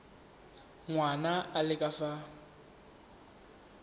ngwana a le ka fa